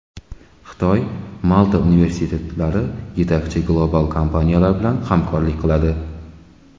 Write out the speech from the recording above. Xitoy, Malta universitetlari yetakchi global kompaniyalar bilan hamkorlik qiladi.